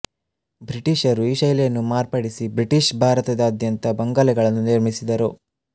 ಬ್ರಿಟೀಷರು ಈ ಶೈಲಿಯನ್ನು ಮಾರ್ಪಡಿಸಿ ಬ್ರಿಟಿಷ್ ಭಾರತದಾದ್ಯಂತ ಬಂಗಲೆಗಳನ್ನು ನಿರ್ಮಿಸಿದರು